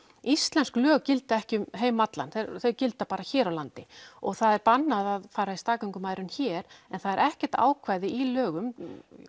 íslensk lög gilda ekki um heim allan þau gilda hér á landi það er bannað að fara í staðgöngumæðrun hér en það er ekkert ákvæði í lögum